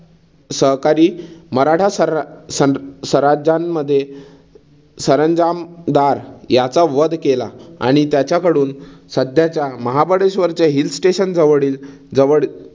सहकारी मराठा सर सन सरंजान्मध्ये सरंजामदार याचा वध केला आणि त्याच्याकडून सद्याचा महाबळेश्वरच्या Hill Station जवळील जवळ